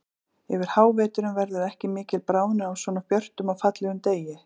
Yfir háveturinn verður ekki mikil bráðnun á svona björtum og fallegum degi.